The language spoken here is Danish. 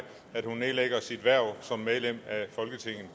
at hun nedlægger sit hverv som medlem af folketinget